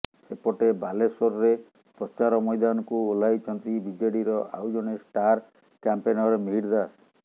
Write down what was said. ସେପଟେ ବାଲେଶ୍ୱରରେ ପ୍ରଚାର ମୈଦାନକୁ ଓହ୍ଲାଇଛନ୍ତି ବିଜେଡିର ଆଉ ଜଣେ ଷ୍ଟାର କ୍ୟାମ୍ପେନର ମିହିର ଦାସ